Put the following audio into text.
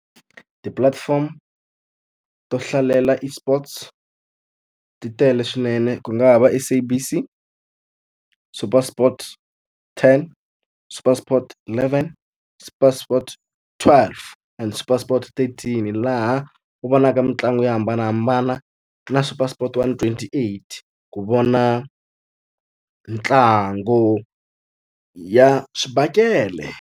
Ti-platform to hlalela eSports ti tele swinene ku nga ha va SABC, SuperSports ten, SuperSports eleven, SuperSports twelve and SuperSports eighteen. Laha u vonaka mitlangu yo hambanahambana na SuperSports one twenty-eight, ku vona ntlangu ya swibakele.